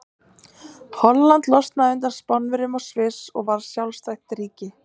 Holland losnaði undan Spánverjum og Sviss varð sjálfstætt ríki.